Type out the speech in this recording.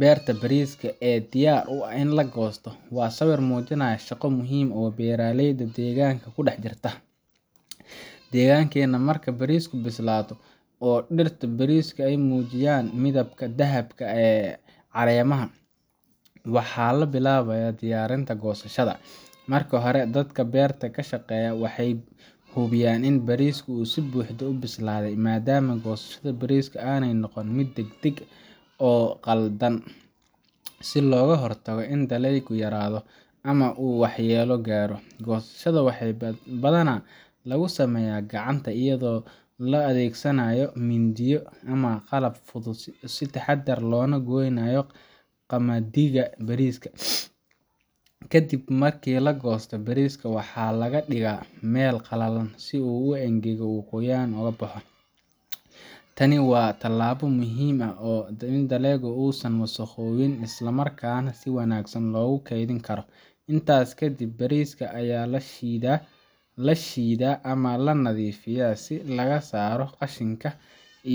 Beerta bariiska ee diyaar u ah in la goosto waa sawir muujinaya shaqo muhiim ah oo beeralayda deegaanka ku dhex jirta. Deegaankeenna, marka bariisku bislaado oo dhirta bariiska ay muujiyaan midabka dahabka ah ee caleemaha, waxaa la bilaabayaa diyaarinta goosashada. Marka hore, dadka beerta ka shaqeeya waxay hubiyaan in bariisku si buuxda u bislaaday, maadaama goosashada bariiska aanay noqon mid degdeg ah oo qaldan, si looga hortago in dalaygu yaraado ama uu waxyeelo gaaro. Goosashada waxaa badanaa lagu sameeyaa gacanta iyadoo la adeegsanayo mindiyo ama qalab fudud, si taxadar leh loona gooyo qamadiga bariiska. Kadib markii la goosto, bariiska waxaa la dhigaa meel qalalan si uu u engego oo qoyaan ka baxo, tani waa tallaabo muhiim ah si dalagu uusan u wasakhoobin isla markaana si wanaagsan loogu kaydin karo. Intaas ka dib, bariiska ayaa la shiidaa ama la nadiifiyaa si laga saaro qashinka